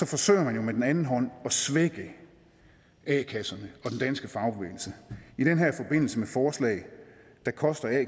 forsøger man jo med den anden hånd at svække a kasserne og den danske fagbevægelse i den her forbindelse med forslag der koster a